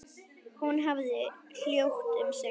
Hún hafði hljótt um sig.